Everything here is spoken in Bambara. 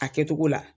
A kɛcogo la